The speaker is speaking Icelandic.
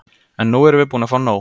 En nú erum við búin að nóg!